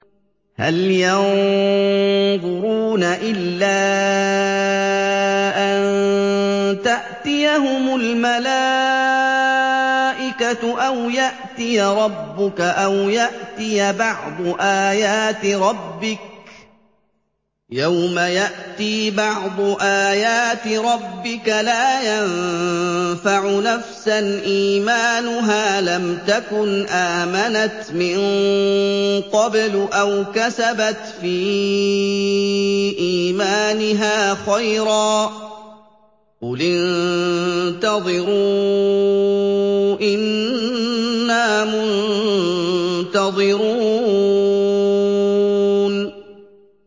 هَلْ يَنظُرُونَ إِلَّا أَن تَأْتِيَهُمُ الْمَلَائِكَةُ أَوْ يَأْتِيَ رَبُّكَ أَوْ يَأْتِيَ بَعْضُ آيَاتِ رَبِّكَ ۗ يَوْمَ يَأْتِي بَعْضُ آيَاتِ رَبِّكَ لَا يَنفَعُ نَفْسًا إِيمَانُهَا لَمْ تَكُنْ آمَنَتْ مِن قَبْلُ أَوْ كَسَبَتْ فِي إِيمَانِهَا خَيْرًا ۗ قُلِ انتَظِرُوا إِنَّا مُنتَظِرُونَ